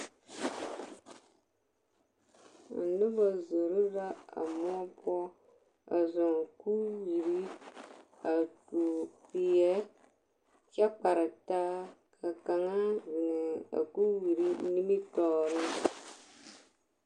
A noba zoro la a moɔ poɔ a zɔɔ kuriwie a tuo peɛ kyɛ kparetaa ka kaŋa zeŋ a kuriwiri nimitɔɔreŋ.